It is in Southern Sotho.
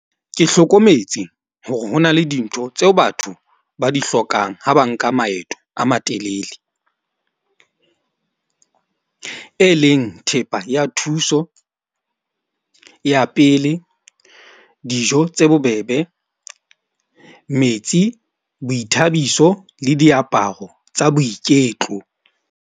Ke hlokometse hore hona le dintho tseo batho ba di hlokang ha ba nka maeto a matelele. E leng thepa ya thuso ya pele, dijo tse bobebe, metsi, boithabiso le diaparo tsa boiketlo.